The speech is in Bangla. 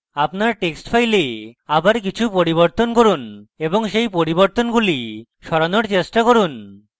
আপনার text file আবার কিছু পরিবর্তন করুন এবং সেই পরিবর্তনগুলি সরানোর চেষ্টা করুন